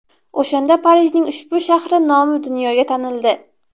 O‘shanda Parijning ushbu shahri nomi dunyoga tanildi.